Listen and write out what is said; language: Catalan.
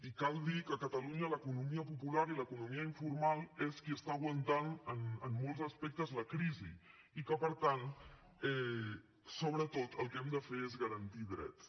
i cal dir que a catalunya l’economia popular i l’economia informal són les qui estan aguantant en molts aspectes la crisi i que per tant sobretot el que hem de fer és garantir drets